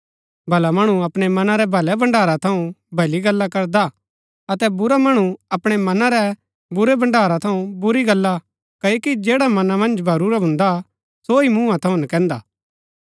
भला मणु अपणै मना रै भलै भण्ड़ारा थऊँ भली गल्ला करदा अतै बुरा मणु अपणै मना रै बुरै भण्ड़ारा थऊँ बुरी गल्ला क्ओकि जैडा मना मन्ज भरूरा भुन्दा सो ही मुँहा थऊँ नकैन्दा